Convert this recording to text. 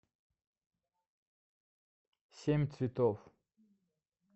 семь цветов